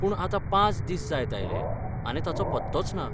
पूण आता पांच दीस जायत आयले आनी ताचो पत्तोच ना.